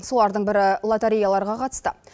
солардың бірі лотереяларға қатысты